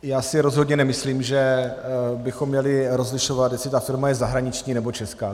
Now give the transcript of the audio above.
Já si rozhodně nemyslím, že bychom měli rozlišovat, jestli ta firma je zahraniční, nebo česká.